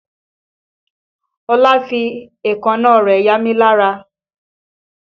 Ọlá fi èékánná rẹ̀ yamí lára